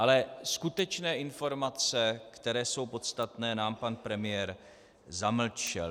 Ale skutečné informace, které jsou podstatné, nám pan premiér zamlčel.